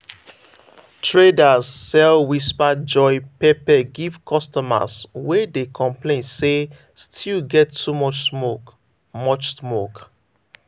traders sell whisper joy pepper give customers wey dey complain say stew get too much smoke. much smoke.